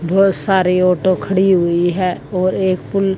बहोत सारी ऑटो खड़ी हुई है ओर एक पुल --